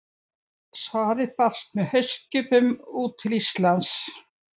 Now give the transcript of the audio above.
Svarið barst með haustskipum út til Íslands.